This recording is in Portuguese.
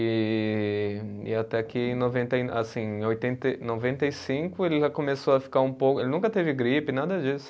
E e até que em noventa e, assim, em oitenta e, noventa e cinco ele já começou a ficar um pouco, ele nunca teve gripe, nada disso.